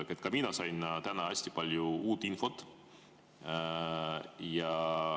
Ka mina sain täna hästi palju uut infot.